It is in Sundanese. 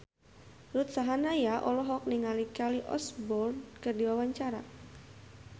Ruth Sahanaya olohok ningali Kelly Osbourne keur diwawancara